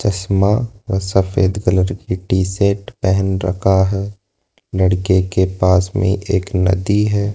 चश्मा व सफेद कलर की टी शर्ट पहन रखा है लड़के के पास में एक नदी है।